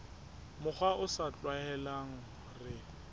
mokgwa o sa tlwaelehang re